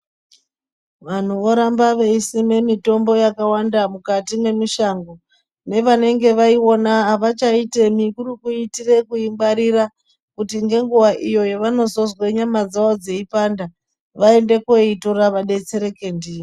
Vanhu voramba veisima mitombo yakawanda mukati mwemisha. Nevanenge vaiona havachaitemi kuri kuitira kuingwarira kuti nenguwa iyo yavanozozwa nyama dzavo dzeipanda vaende koitora vadetsereke ndiyo.